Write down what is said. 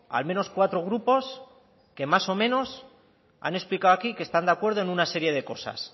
al menos cuatro grupos que más o menos han explicado aquí que están de acuerdo en una serie de cosas